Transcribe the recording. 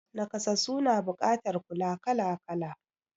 Nakasassu na buƙatar kula kala kala